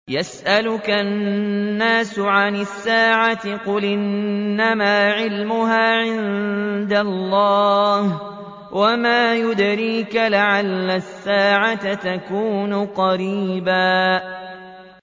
يَسْأَلُكَ النَّاسُ عَنِ السَّاعَةِ ۖ قُلْ إِنَّمَا عِلْمُهَا عِندَ اللَّهِ ۚ وَمَا يُدْرِيكَ لَعَلَّ السَّاعَةَ تَكُونُ قَرِيبًا